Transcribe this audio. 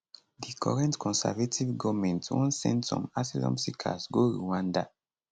di current conservative goment wan send some asylum seekers go rwanda